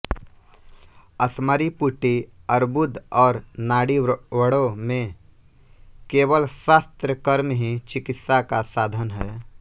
अश्मरी पुटी अर्बुद और नाड़ीव्रणों में केवल शस्त्र कर्म ही चिकित्सा का साधन है